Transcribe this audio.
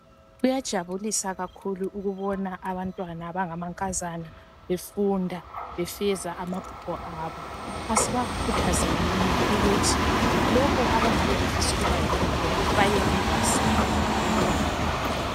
Kuyathokozisa kakhulu ukubona abantwana abangamankazana befunda befeza amaphupho abo asibakhuthazenini ukuthi lokho abangabe befisa ukuba yikho khona bayenelisa ukuba yikho.